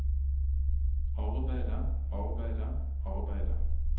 arbeidet arbeidet arbeidet